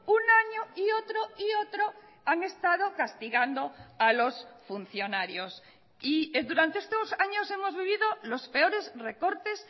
un año y otro y otro han estado castigando a los funcionarios y durante estos años hemos vivido los peores recortes